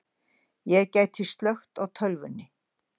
Ég gæti slökkt á tölvunni.